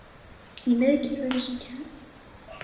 Í miðkerfinu sem kennt er við